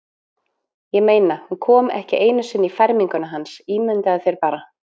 Ég meina, hún kom ekki einu sinni í ferminguna hans, ímyndaðu þér bara.